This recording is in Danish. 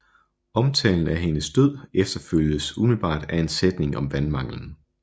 Omtalen af hendes død efterfølges umiddelbart af en sætning om vandmanglen